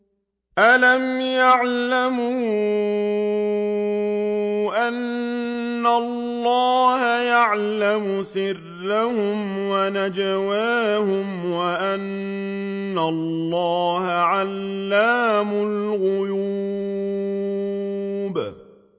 أَلَمْ يَعْلَمُوا أَنَّ اللَّهَ يَعْلَمُ سِرَّهُمْ وَنَجْوَاهُمْ وَأَنَّ اللَّهَ عَلَّامُ الْغُيُوبِ